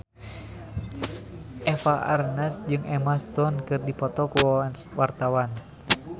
Eva Arnaz jeung Emma Stone keur dipoto ku wartawan